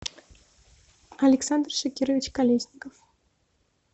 александр шакирович колесников